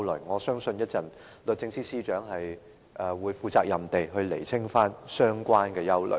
我相信律政司司長稍後會負責任地釐清相關的疑慮。